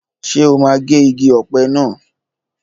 Ṣé o máa gé igi ọ̀pẹ naa?